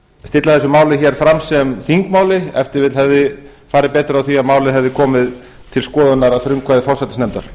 stilla þessu máli hér fram sem þingmáli ef til vill hefði farið betur á því að málið hefði komið til skoðunar að frumkvæði forsætisnefndar